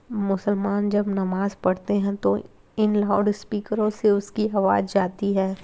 मुसलमान जब नमाज पढ़ते हैं तो इन लाउडस्पीकरो से उसकी आवाज जाती है।